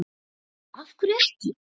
Lóa: Af hverju ekki?